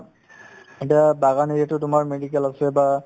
এতিয়া বাগান area তো তোমাৰ medical আছে বা